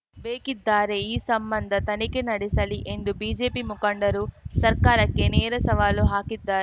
ಬೇಕಿದ್ದಾರೆ ಈ ಸಂಬಂಧ ತನಿಖೆ ನಡೆಸಲಿ ಎಂದು ಬಿಜೆಪಿ ಮುಖಂಡರು ಸರ್ಕಾರಕ್ಕೆ ನೇರ ಸವಾಲು ಹಾಕಿದ್ದಾ